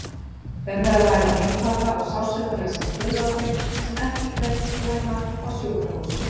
Um er að ræða einfalda og sársaukalausa skurðaðgerð sem ekki krefst innlagningar á sjúkrahús.